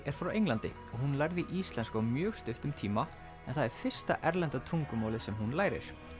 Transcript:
er frá Englandi hún lærði íslensku á mjög stuttum tíma en það er fyrsta erlenda tungumálið sem hún lærir